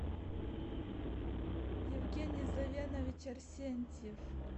евгений завенович арсентьев